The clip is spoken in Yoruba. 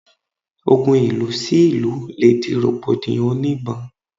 Ogun ìlú sí ìlú le di rògbòdìyàn òní ìbọn